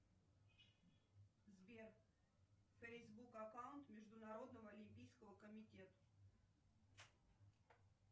сбер фейсбук аккаунт международного олимпийского комитета